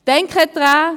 Denken Sie daran: